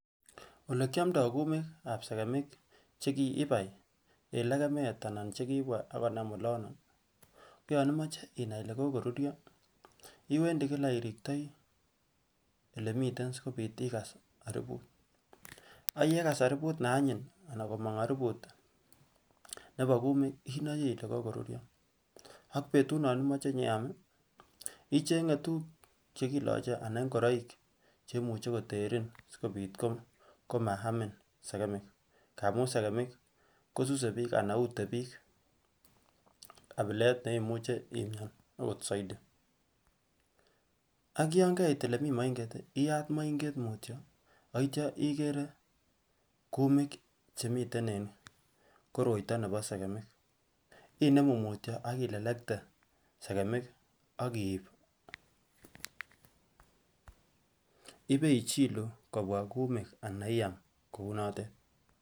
Olekyomdo kumiik ab sekemik chekiibai en lekemet anan chekibwaa akonam olon koyon imoche inai ile kokoruryo iwendii kila iriktoi olemiten asikobit ikas aruput, ak yekas oruput neanyin anan komong oruput nebo kumiik inoe ile kokoruryo ak betut non imoche iam ih ichenge tukuk chekiloche anan ko ingoroik cheimuche koterin asikobit komaanin sekemik amun sekemik kosusebiik anan koutebiik kabilet neimuche imian okot soiti, ak yan keit olemii moinget iyaat moinget mutyo akitya ikere kumiik chemiten eng koroito nebo sekemik inemu mutyo akilelekte sekemik akiib ibeichilu kobwa kumiik anan iam kounotet.